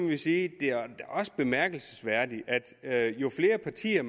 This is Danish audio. vi sige at det er bemærkelsesværdigt at jo flere partier